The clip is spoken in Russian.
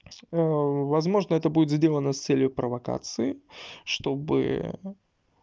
о возможно это будет сделано с целью провокации чтобы